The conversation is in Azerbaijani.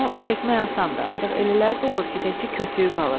Bunu çəkmək asandır, ancaq elələri də olur ki, təkcə kötüyü qalır.